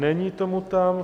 Není tomu tak.